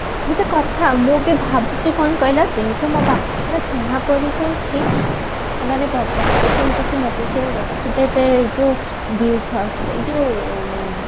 ଗୋଟେ କଥା ମୁଁ ବି ଭାବୁଚି କଣ କହିଲା ଯେହେତୁ ମୋ ବାପଙ୍କର ଚିହ୍ନ ପରିଚୟ ଅଛି ସେମାନେ ଭ ଭାବୁଚନ୍ତି କି ମତେ ସେ ରଖିଦେବେ ଏଇ ଯୋଉ ବି ଶ୍ଵା ଏଇ ଯୋଉ